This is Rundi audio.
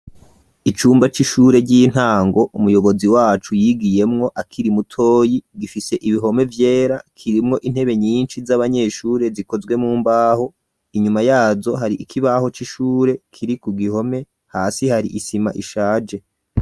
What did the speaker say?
Icumba c'ishure ry'intango umuyobozi wacu yigiyemwo akiri mutoyi gifise ibihome vyera kirimwo intebe nyinshi z'abanyeshure zikozwe mumbaho inyuma yazo hari ikibaho c.ishure kiri ku gihome hasi hari isima ishaje.